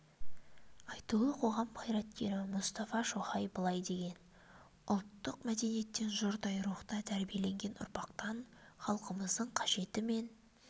айтулы қоғам қайраткері мұстафа шоқай былай деген ұлттық мәдениеттен жұрдай рухта тәрбиеленген ұрпақтан халқымыздың қажеті мен